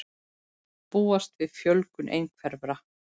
Búast við fjölgun einhverfra